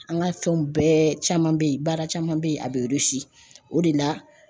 An ka fɛnw bɛɛ caman be yen baara caman be ye a be o de la